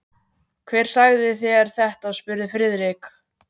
Hver sagði þér þetta? spurði Friðrik.